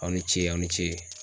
Aw ni ce aw ni ce.